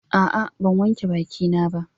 A'a ban wanke bakina ba.